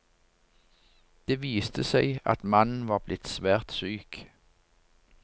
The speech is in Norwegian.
Det viste seg at mannen var blitt svært syk.